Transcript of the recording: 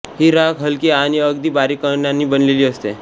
ही राख हलकी आणि अगदी बारीक कणांनी बनलेली असते